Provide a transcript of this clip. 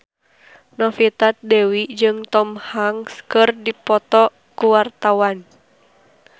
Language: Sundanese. Novita Dewi jeung Tom Hanks keur dipoto ku wartawan